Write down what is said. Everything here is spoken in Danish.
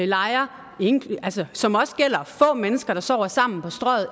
lejre som også gælder få mennesker der sover sammen på strøget